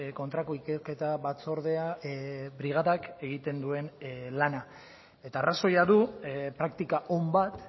kontrako ikerketa batzordea brigadak egiten duen lana eta arrazoia du praktika on bat